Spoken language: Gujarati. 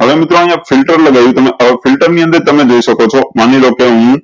હવે મિત્રો અયીયા ફિલ્ટર લગાવી તમે હવે ફિલ્ટર ની અંદર તમે જોયી શકો છો માની લો કે હું